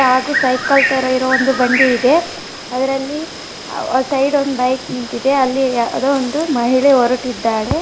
Cycle ತರ ಇರುವ ಒಂದು ಬಂಡಿ ಇದೆ ಅದರಲ್ಲಿ ಸೈಡ್ ಒಂದು ಬೈಕ್ ನಿಂತಿದೆ ಯಾವುದೋ ಒಬ್ಬ ಮಹಿಳೆ ಹೊರಟಿದ್ದಾರೆ.